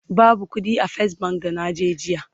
babu ƙuɗi a fes bank da naje jiya